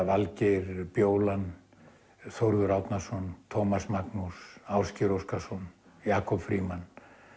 Valgeir bjólan Þórður Árnason Tómas Magnús Ásgeir Óskarsson Jakob Frímann